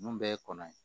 Nun bɛɛ ye kɔnɔ ye